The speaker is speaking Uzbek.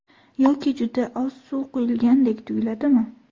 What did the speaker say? Yoki juda oz suv quyilgandek tuyiladimi?